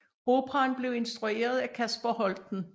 Operaen blev instrueret af Kasper Holten